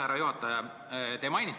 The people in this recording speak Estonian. Härra juhataja!